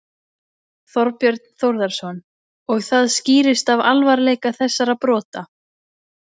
Þorbjörn Þórðarson: Og það skýrist af alvarleika þessara brota?